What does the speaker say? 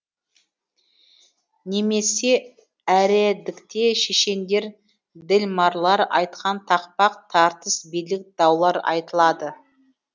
немесе әредікте шешендер ділмарлар айтқан тақпақ тартыс билік даулар айтылады